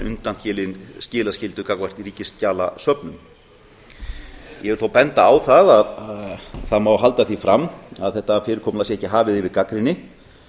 undanskilin gagnvart ríkisskjalasöfnum ég vil þó benda á að það má halda því fram að þetta fyrirkomulag sé hafið yfir gagnrýni